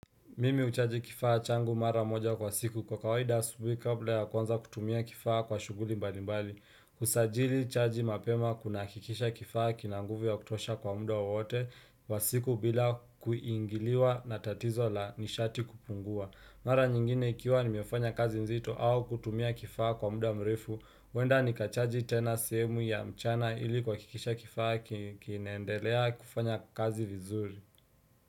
Mimi huchaji kifaa changu mara moja kwa siku kwa kawaida asubuhi kabla ya kwanza kutumia kifaa kwa shughuli mbali mbali. Kusajili chaji mapema kuna hakikisha kifaa kina nguvu ya kutosha kwa muda wowote wa siku bila kuingiliwa na tatizo la nishati kupungua. Mara nyingine ikiwa nimefanya kazi nzito au kutumia kifaa kwa muda mrefu. Huenda nikachaji tena sehemu ya mchana ili kuhakikisha kifaa kinandelea kufanya kazi vizuri.